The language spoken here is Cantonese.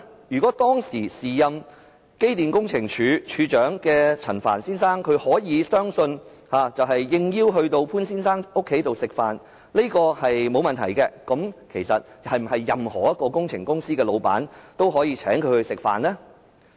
如果當時時任機電工程署署長的陳帆先生相信，他應邀到潘先生家裏聚餐沒有問題，是否任何工程公司的老闆都可以請他吃飯？